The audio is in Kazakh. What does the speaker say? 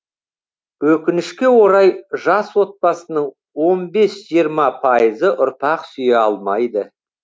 өкінішке орай жас отбасының он бес жиырма пайызы ұрпақ сүйе алмайды